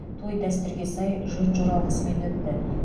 той дәстүрге сай жөн жоралғысымен өтті